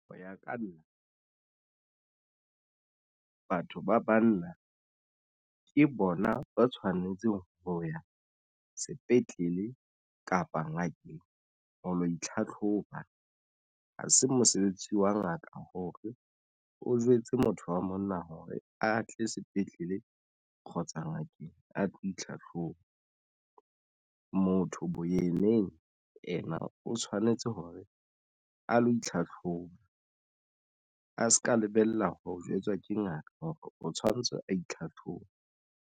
Hoya ka nna batho ba banna ke bona ba tshwanetseng ho ya sepetlele kapa ngakeng ho lo itlhatlhoba ha se mosebetsi wa ngaka hore o jwetse motho wa monna hore a tle sepetlele. Kgotsa ngakeng a tlo itlhahloba motho boyeneng o tshwanetse hore a lo itlhatlhoba a se ka lebella ho jwetswa ke ngaka hore o tshwanetse a itlhatlhobe.